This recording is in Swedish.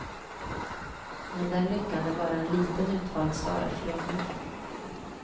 Men den lyckan är bara en liten utvald skara förunnad.